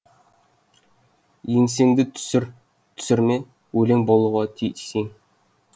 еңсеңді түсір түсірме өлең болуға тиіс ең